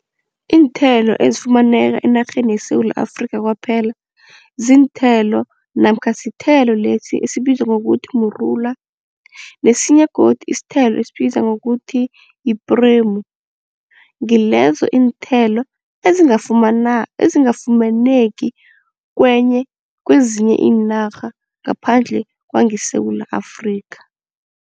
Iinthelo ezifumaneka enarheni yeSewula Afrikha kwaphela ziinthelo namkha sithelo lesi esibizwa ngokuthi mrula nesinye godu isithelo esibizwa ngokuthi ipremu ngilezo iinthelo ezingafumaneki kwezinye iinarha ngaphandle kwangeSewula Afrikha.